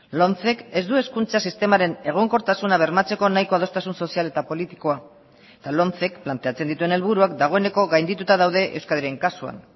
lomcek ez du hezkuntza sistemaren egonkortasuna bermatzeko nahiko adostasun sozial eta politikoa eta lomcek planteatzen dituen helburuak dagoeneko gaindituta daude euskadiren kasuan